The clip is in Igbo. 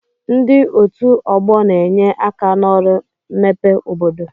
Ndi otu ọgbọ na-enye aka n'ọrụ mmepe obodo